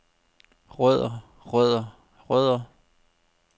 rødder rødder rødder